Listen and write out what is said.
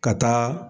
Ka taa